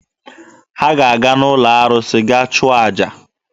Ha ga-aga n'ụlọ arụsị gaa chụọ aja.